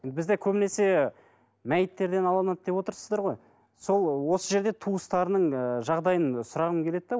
бізде көбінесе мәйіттерден алынады деп отырсыздар ғой сол осы жерде туыстарының ыыы жағдайын сұрағым келеді де